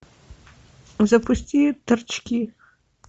запусти торчки